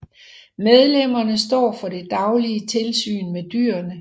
Medlemmerne står for det daglige tilsyn med dyrene